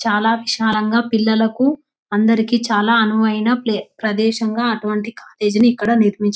చాలా విశాలంగా పిల్లలకు అందరకు చాలా అనువైన ప్రదేశం గా అటువంటి కాలేజ్నే ఇక్కడ నిర్మించారు --